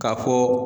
K'a fɔ